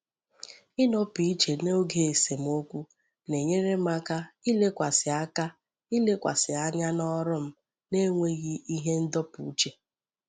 Ịnọpụ iche n'oge esemokwu na enyere m aka ilekwasị aka ilekwasị anya n'ọrụ m n'enweghị ihe ndọpụ uche.